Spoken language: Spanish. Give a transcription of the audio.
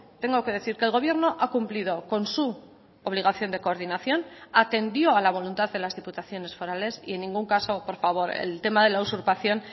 tengo que decir que el gobierno ha cumplido con su obligación de coordinación atendió a la voluntad de las diputaciones forales y en ningún caso por favor el tema de la usurpación